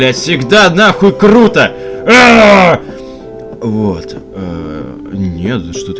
я всегда нахуй круто аа вот ээ нет за что ты